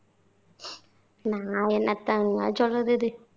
நான் என்னத்தங்கா சொல்றதுது